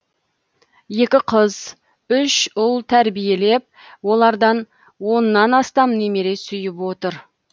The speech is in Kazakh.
екі қыз үш ұл тәрбиелеп олардан оннан астам немере сүйіп отыр